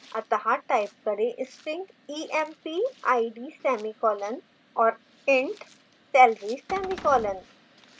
अत: type करें string empid semicolon और int salary semicolon